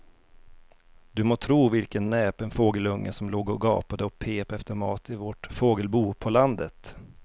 Du må tro vilken näpen fågelunge som låg och gapade och pep efter mat i vårt fågelbo på landet.